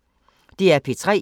DR P3